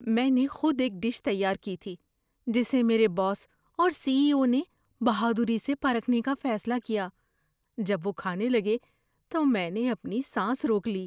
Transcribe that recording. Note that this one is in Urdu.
‏میں نے خود ایک ڈش تیار کی تھی جسے میرے باس اور سی ای او نے بہادری سے پرکھنے کا فیصلہ کیا۔ جب وہ کھانے لگے تو میں نے اپنی سانس روک لی۔